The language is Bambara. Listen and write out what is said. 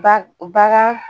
Ba bagan